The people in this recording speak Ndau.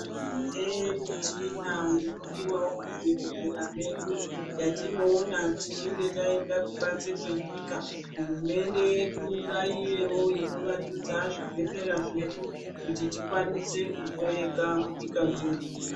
Tine michina inodiwawo muzvibhedhlera medu yatinoona tichinge taenda kubanze kwenyika hurumende yedu ngaive ino wandudza zvibhedhlera zvedu kuti tikwanise kuhloyeka munyika mwedu.